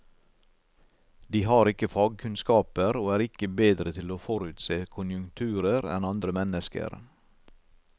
De har ikke fagkunnskaper, og er ikke bedre til å forutse konjunkturer enn andre mennesker.